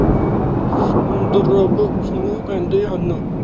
ਸਮੁੰਦਰ ਰੱਬ ਸਮੂਹ ਕਹਿੰਦੇ ਹਨ